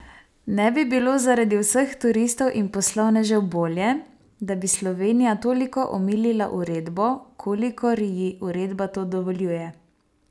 Ne bi bilo zaradi vseh turistov in poslovnežev bolje, da bi Slovenija toliko omilila uredbo, kolikor ji uredba to dovoljuje?